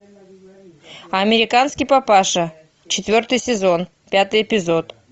американский папаша четвертый сезон пятый эпизод